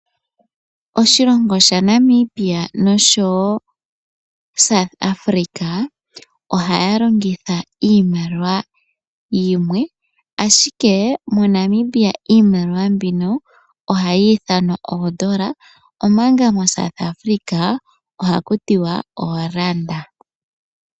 Oshilongo Namibia no sho woo South Africa ohaya longitha iimaliwa yimwe. Ashike mo Namibia iimaliwa mbino ohayi ithanwa oodola omanga mo South Africa ohaku tiwa ooranda.